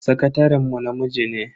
Sakataren mu namiji ne.